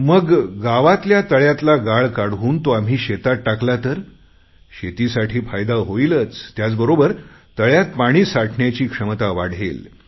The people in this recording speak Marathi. मग गावातल्या तळ्यातला गाळ काढून तो आम्ही शेतात टाकला तर शेतीसाठी फायदा होईलच त्याचबरोबर तळ्यात पाणी साठण्याची क्षमता वाढेल